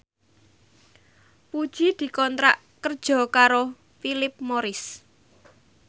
Puji dikontrak kerja karo Philip Morris